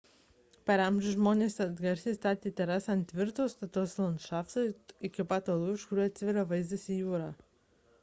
per amžius žmonės atsargiai statė terasas ant tvirto stataus landšafto iki pat uolų iš kurių atsiveria vaizdas į jūrą